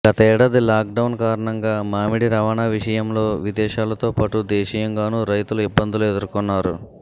గతేడాది లాక్డౌన్ కారణంగా మామిడి రవాణా విషయంలో విదేశాలతో పాటు దేశీయంగానూ రైతులు ఇబ్బందులు ఎదుర్కొన్నారు